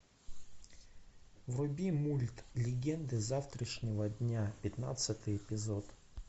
вруби мульт легенды завтрашнего дня пятнадцатый эпизод